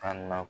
An na